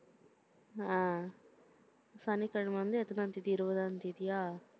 அஹ் சனிக்கிழமை வந்து, எத்தனாம் தேதி, இருபதாம் தேதியா?